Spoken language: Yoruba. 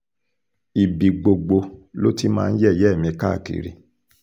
ibi gbogbo ló ti máa ń yẹ̀yẹ́ mi káàkiri